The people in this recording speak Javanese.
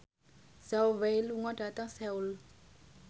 Zhao Wei lunga dhateng Seoul